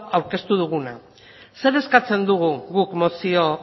aurkeztu duguna zer eskatzen dugu guk mozio